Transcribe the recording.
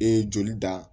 E joli da